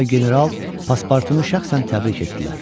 Ağa və general paspartunu şəxsən təbrik etdilər.